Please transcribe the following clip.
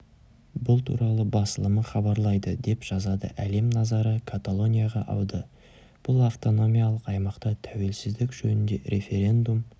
бұл туралы басылымы хабарлайды деп жазады әлем назары каталонияға ауды бұл автономиялық аймақта тәуелсіздік жөнінде референдум